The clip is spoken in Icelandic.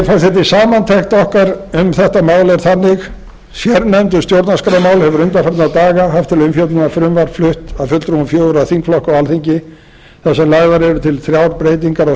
virðulegi forseti samantekt okkar um þetta mál er þannig sérnefnd um stjórnarskrármál hefur undanfarna daga haft til umfjöllunar frumvarp flutt af fulltrúum fjögurra þingflokka á alþingi þar sem lagðar eru til þrjár breytingar á